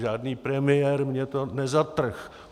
Žádný premiér mně to nezatrhl.